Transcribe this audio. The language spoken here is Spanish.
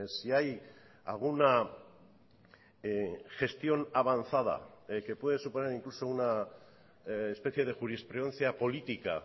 si hay alguna gestión avanzada que puede suponer incluso una especie de jurisprudencia política